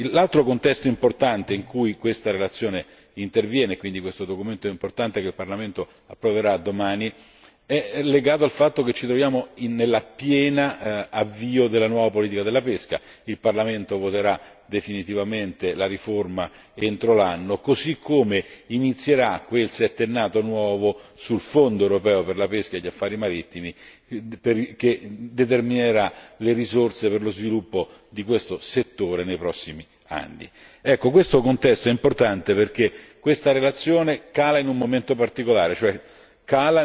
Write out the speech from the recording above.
L'altro contesto importante in cui questa relazione interviene ed è quindi importante che il Parlamento domani la approvi è legato al fatto che ci troviamo nel pieno avvio della nuova politica della pesca il Parlamento voterà definitivamente la riforma entro l'anno, così come inizierà quel settennato nuovo sul Fondo europeo per la pesca e gli affari marittimi che determinerà le risorse per lo sviluppo di questo settore nei prossimi anni. Il contesto è importante perché questa relazione vede la luce in un momento particolare, quando